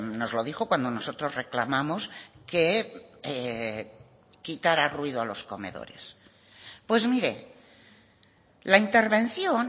nos lo dijo cuando nosotros reclamamos que quitara ruido a los comedores pues mire la intervención